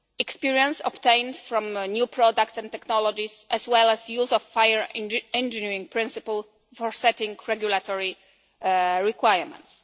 experience obtained from new products and technologies, as well as use of fire engineering principles for setting regulatory requirements.